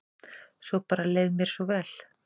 Svo bara leið mér svo vel.